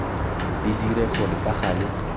di dire gore ka gale